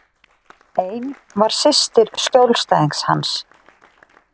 Ein var systir skjólstæðings hans.